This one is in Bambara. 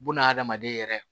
Bunahadamaden yɛrɛ